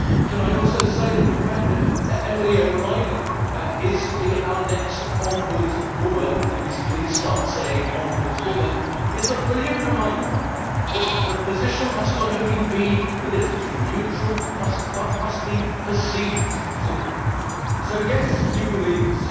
Can I also say that the fact that Emily O'Reilly is to be our next Ombudswoman can we please start saying Ombudswoman' is a brilliant reminder that the position must not only be politically neutral, but must be perceived to be. So yes, you will leave